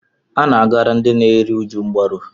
A na-agara ndị na-eru uju mgbaru.